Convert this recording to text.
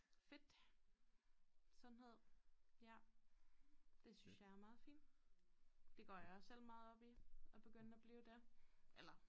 Fedt sundhed ja det synes jeg er meget fin det går jeg også selv meget op i at begynde at blive det eller